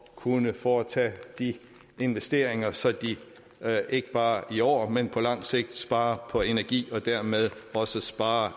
kunne foretage investeringer så de ikke bare i år men på lang sigt sparer energi og dermed også sparer